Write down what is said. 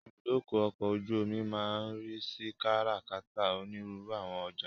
Ibùdó ọkọ̀ ojú omi máa ń ríi sí kárà-kàtà onírúurú àwọn ọjà.